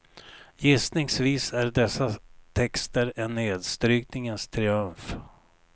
Gissningsvis är dessa texter en nedstrykningens triumf.